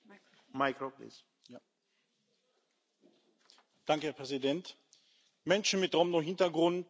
Herr Präsident! Menschen mit Romno Hintergrund in Ungarn sind massiver Diskriminierung ausgesetzt.